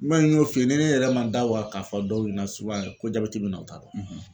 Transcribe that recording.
n y'o f'i ye ni ne yɛrɛ ma n da waga k'a fɔ dɔw ɲɛna yɛrɛ ko jabɛti bɛ n na o ta dɔn